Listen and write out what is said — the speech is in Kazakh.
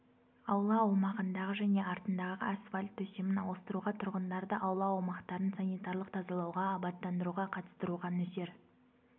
аула аумағындағы және артындағы асфальт төсемін ауыстыруға тұрғындарды аула аумақтарын санитарлық тазалауға абаттандыруға қатыстыруға нөсер